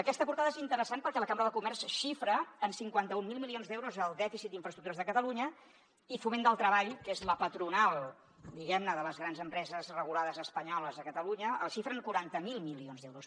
aquesta portada és interessant perquè la cambra de comerç xifra en cinquanta mil milions d’euros el dèficit d’infraestructures de catalunya i foment del treball que és la patronal diguem ne de les grans empreses regulades espanyoles a catalunya el xifra en quaranta miler milions d’euros